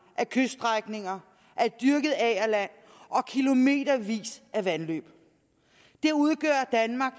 af kyststrækninger af dyrket agerland og kilometervis af vandløb det udgør danmark